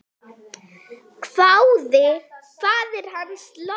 hváði faðir hans loks.